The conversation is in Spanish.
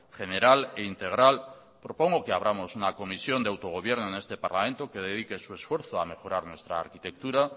general e integral propongo que abramos una comisión de autogobierno en este parlamento que dedique su esfuerzo a mejorar nuestra arquitectura